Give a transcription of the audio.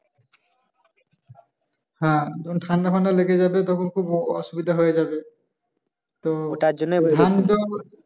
হ্যাঁ ঠাণ্ডা-ফাণ্ডা লেগে যাবে তখন খুব অসুবিধা হয়ে যাবে।